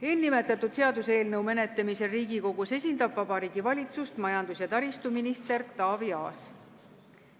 Selle seaduseelnõu menetlemisel Riigikogus esindab Vabariigi Valitsust majandus- ja taristuminister Taavi Aas.